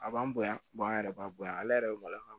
A b'an bonya an yɛrɛ b'a bonya ale yɛrɛ be maloya